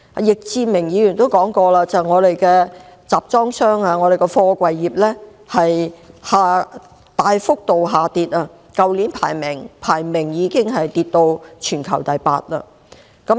易志明議員曾表示，香港的貨櫃業收入大幅下跌，貨櫃業去年的排名已經下跌至全球第八。